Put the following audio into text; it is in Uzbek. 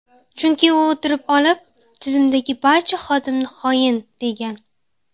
Chunki u o‘tirib olib, tizimdagi barcha xodimni xoin, degan.